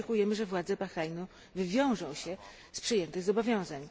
Oczekujemy, że władze Bahrajnu wywiążą się z przyjętych zobowiązań.